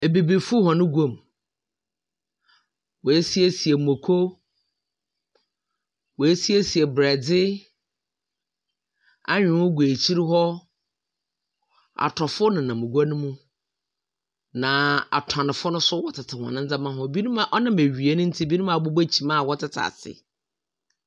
Ebibifo hɔn guamu, woesiesie muoko, woesiesie borɛdze, anwew gu ekyir hɔ, atɔfo nenam gua no mu na atɔnfo no so tsetse hɔn ndzɛmba ho, binom a ɔnam ewia no ntsi, binom abobɔ kyim a wɔtsetse ase.